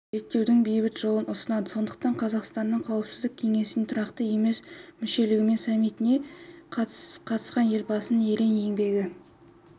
реттеудің бейбіт жолын ұсынады сондықтан қазақстанның қауіпсіздік кеңесіне тұрақты емес мүшелігімен саммитіне қатысуыелбасының ерен еңбегі